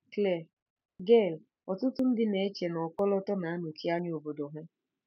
Claire: Gail, ọtụtụ ndị na-eche na ọkọlọtọ na-anọchi anya obodo ha.